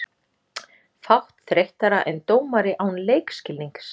Fátt þreyttara en dómari án leikskilnings.